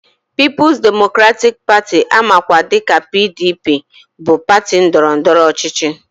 Pịịpụs demokratịk Patị amakwa dịka PDP bụ patị ndọrọndọrọ ọchịchị